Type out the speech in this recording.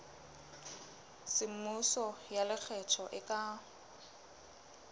semmuso ya lekgetho e ka